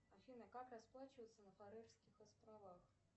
афина как расплачиваться на фарерских островах